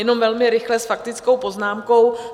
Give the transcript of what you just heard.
Jenom velmi rychle s faktickou poznámkou.